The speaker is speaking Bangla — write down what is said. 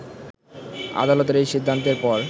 আদালতের এই সিদ্ধান্তের পর